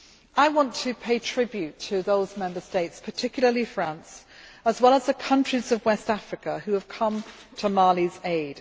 I want to pay tribute to those Member States, particularly France, as well as the countries of West Africa, who have come to Mali's aid.